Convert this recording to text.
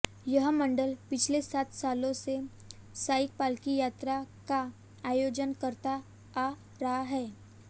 यह मंडल पिछले सात सालों से साई पालकी यात्रा का आयोजन करता आ रहा है